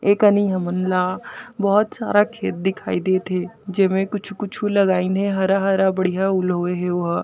ए कनि हमन ला बहोत सारा खेत दिखाई देत हे जेमे कुछ-कुछु लगाइन हे हरा-हरा बढ़िया उलहोए ओहा।